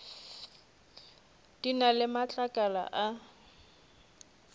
di na le matlakala a